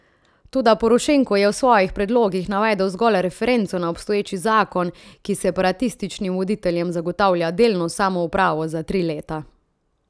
Toda Porošenko je v svojih predlogih navedel zgolj referenco na obstoječi zakon, ki separatističnim voditeljem zagotavlja delno samoupravo za tri leta.